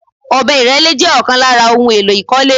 Ọ̀bẹ ìrẹ́lé jẹ́ ọ̀kan lára ohun èlò ìkọ́lé